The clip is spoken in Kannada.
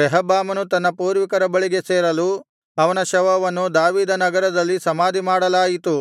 ರೆಹಬ್ಬಾಮನು ತನ್ನ ಪೂರ್ವಿಕರ ಬಳಿಗೆ ಸೇರಲು ಅವನ ಶವವನ್ನು ದಾವೀದನಗರದಲ್ಲಿ ಸಮಾಧಿಮಾಡಲಾಯಿತು